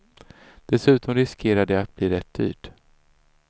Dessutom riskerar det att bli rätt dyrt.